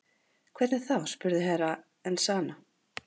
Hvernig þá spurði Herra Enzana.